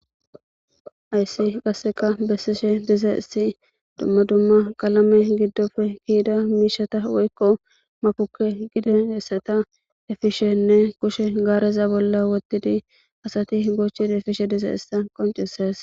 Hayiss qasekka besishshe dizayiss dumma dumma qalame giddoppe ke'idda mishshata woyikko matappe effishenne kushshenni garezza bolla canishshe dizayissa besses.